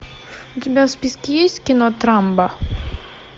у тебя в списке есть кино трамба